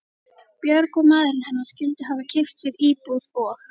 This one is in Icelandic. Björg og maðurinn hennar skyldu hafa keypt sér íbúð og